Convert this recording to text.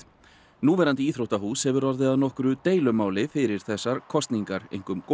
núverandi íþróttahús hefur orðið að nokkru deilumáli fyrir þessar kosningar